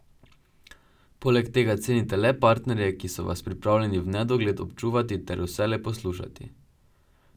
Poleg tega cenite le parterje, ki so vas pripravljeni v nedogled občudovati ter vselej poslušati.